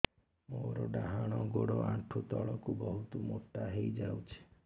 ମୋର ଡାହାଣ ଗୋଡ଼ ଆଣ୍ଠୁ ତଳକୁ ବହୁତ ମୋଟା ହେଇଯାଉଛି